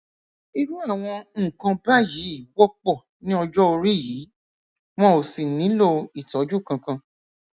irú àwọn nǹkan báyìí wọpọ ní ọjọ orí yìí wọn ò sì nílò ìtọjú kankan